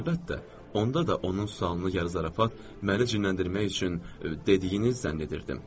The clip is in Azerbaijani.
Əlbəttə, onda da onun sualını yarı zarafat məni cinləndirmək üçün dediyiniz zənn edirdim.